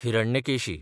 Hiranyakeshi